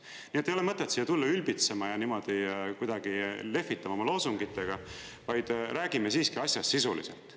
Nii et ei ole mõtet siia tulla ülbitsema ja niimoodi kuidagi lehvitama oma loosungitega, vaid räägime siiski asjast sisuliselt.